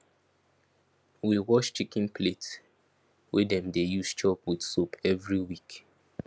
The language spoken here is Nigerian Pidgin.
we wash chicken plate wey dem dey use chop with soap every week